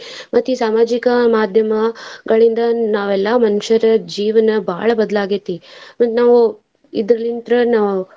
ಮತ್ತ್ ಈ ಸಾಮಾಜಿಕ ಮಾದ್ಯಮಗಳಿಂದ ನಾವೆಲ್ಲಾ ಮನುಷ್ಯರ ಜೀವನ ಬಾಳ ಬದ್ಲಾಗೈತಿ ಮತ್ತ್ ನಾವ್ ಇದ್ರಲಿಂತ್ರ ನಾವ್.